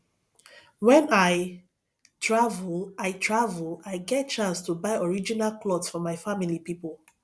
wen i travel i i travel i dey get chance buy original clot for my family pipo